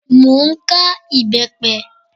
Mo ń ká ìbẹ́pẹ